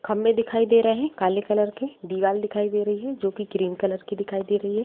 खंभे दिखाई दे रहे हैं काले कलर के दीवाल दिखाई दे रही हैं जो की काले कलर की दिखाई दे रही हैं।